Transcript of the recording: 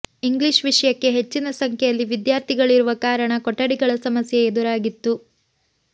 English ವಿಷಯಕ್ಕೆ ಹೆಚ್ಚಿನ ಸಂಖ್ಯೆಯಲ್ಲಿ ವಿದ್ಯಾರ್ಥಿಗಳಿರುವ ಕಾರಣ ಕೊಠಡಿಗಳ ಸಮಸ್ಯೆ ಎದುರಾಗಿತ್ತು